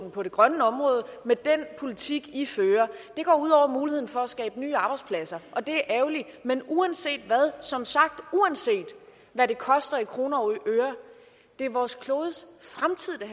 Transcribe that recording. på det grønne område med den politik i fører det går ud over muligheden for at skabe nye arbejdspladser og det er ærgerligt men uanset hvad og som sagt uanset hvad det koster i kroner og øre er det vores klodes fremtid det